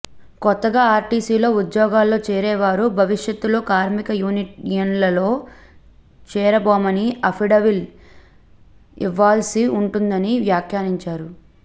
కొత్తగా ఆర్టీసీలో ఉద్యోగాల్లో చేరేవారు భవిష్యత్ లో కార్మిక యూనియన్లలో చేరబోమని అఫిడవిల్ ఇవ్వాల్సి ఉంటుందని వ్యాఖ్యానించారు